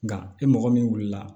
Nka e mɔgɔ min wulila